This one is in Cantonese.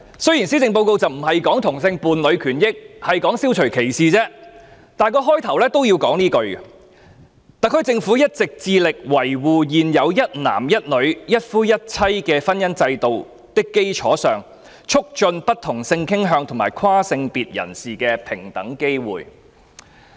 雖然施政報告的相關段落並非談論同性伴侶權益而是消除歧視的問題，但也要開宗明義寫下這句話："特區政府一直致力在維護現有一男一女、一夫一妻的婚姻制度的基礎上，促進不同性傾向和跨性別人士的平等機會"。